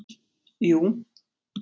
jú